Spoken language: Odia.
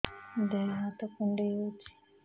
ଦେହ ହାତ କୁଣ୍ଡାଇ ହଉଛି